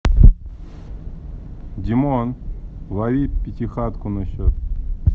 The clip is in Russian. димон лови пятихатку на счет